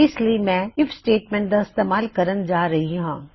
ਇਸ ਲਈ ਮੈਂ ਆਈਐਫ ਸਟੇਟਮੈਂਟ ਦਾ ਇਸਤੇਮਾਲ ਕਰਨ ਜਾ ਰਹੀ ਹਾਂ